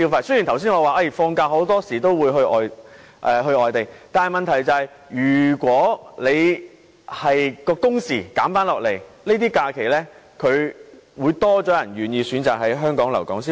雖然我剛才說大家放假時大多會外遊，但問題是如果工時減少，便會有較多人願意選擇在這些假期留港消費。